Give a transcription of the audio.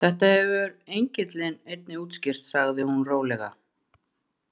Þetta hefur engillinn einnig útskýrt sagði hún rólega.